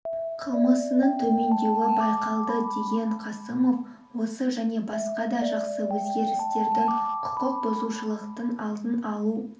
қылмысының төмендеуі байқалды деген қасымов осы және басқа да жақсы өзгерістердің құқық бұзушылықтың алдын алу